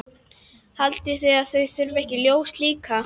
Haldið þið að það þurfi ekki ljós líka?